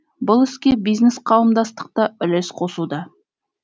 бұл іске бизнес қауымдастық та үлес қосуда